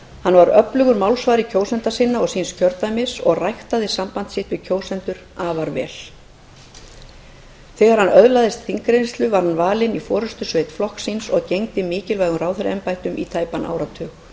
hann var öflugur málsvari kjósenda sinna og síns kjördæmis og ræktaði samband sitt við kjósendur afar vel er hann hafði öðlast þingreynslu var hann valinn í forustusveit flokks síns og gegndi mikilvægum ráðherraembættum í tæpan áratug